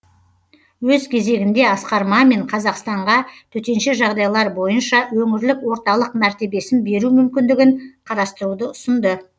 өз кезегінде асқар мамин қазақстанға төтенше жағдайлар бойынша өңірлік орталық мәртебесін беру мүмкіндігін қарастыруды ұсынды